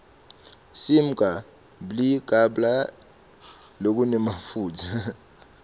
simga bli kabla lokunemafutsa